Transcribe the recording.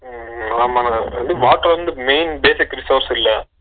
உம் ஆமாங்க water வந்து main basic resource ல